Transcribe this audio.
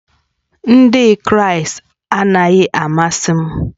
Ndị Kraịst anaghị amasị m